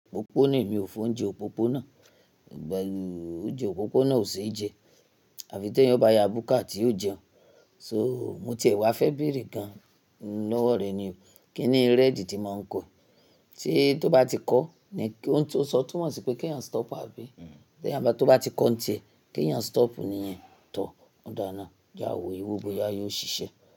Òpopó na, èmi ò fe oúnjẹ òpópó náà, oúnjẹ òpópó náà ò ṣe jẹ, àfi tí ẹ̀yin ò bá ya bùkà tí yóò jẹun. So mo ti ẹ̀ wá fẹ́ bèrè gan lọ́wọ́ rẹ ni o. Kíni red tí mo ń ko, se tí tó bá ti kọ́ ni kí óun ti o n sọ, tumọ̀ sí pé kí ẹ̀yin stop àbí? Ti eyan ba Tó bá ti kọ́ ǹ tí ẹ, kí ẹ̀yin stop níìyẹn. Tóo. Ọ̀da naá, je awo eyi wo bóyá yóò ṣiṣẹ́.